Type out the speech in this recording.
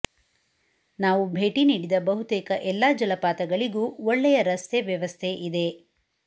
ನಾವು ಭೇಟಿ ನೀಡಿದ ಬಹುತೇಕ ಎಲ್ಲ ಜಲಪಾತಗಳಿಗೂ ಒಳ್ಳೆಯ ರಸ್ತೆ ವ್ಯವಸ್ಥೆ ಇದೆ